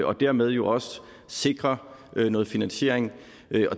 og dermed jo også sikrer noget finansiering